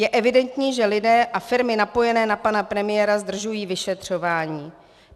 Je evidentní, že lidé a firmy napojení na pana premiéra zdržují vyšetřování.